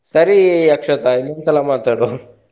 ಸರಿ ಅಕ್ಷತಾ ಇನ್ನೊಂದ್ಸಲ ಮಾತಾಡುವ.